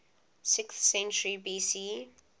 sixth century bc